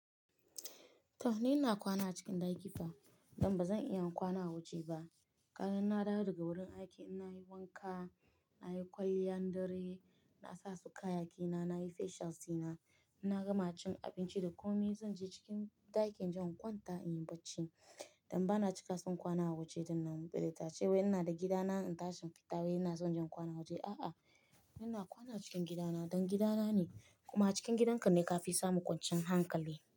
To ni ina kwana a cikin daki fa. Dan ba zan iya kwana a waje ba. Karan na dawo daga wurin aiki, ina yi wanka, na yi kwalliyan dare, na sa su kaya kina, na yi facial suna, ina gama cin abinci da ƙomi, zan je cikin ɗakin inje in ƙwanta in yi barci. Dan ba na cika son kwana a waje, din nan balantale a ce ina da gida na in tashi in fita wai ina son inje in kwana a waje. A'a, ina kwana a cikin gidana don gidana ne. Kuma cikin gidanka ne ka fi samun kwanciyan hankali.